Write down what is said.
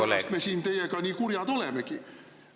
Sellepärast me siin teiega nii kurjad olemegi.